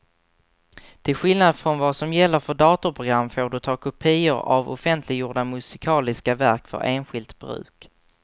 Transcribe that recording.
Till skillnad från vad som gäller för datorprogram får du ta kopior av offentliggjorda musikaliska verk för enskilt bruk.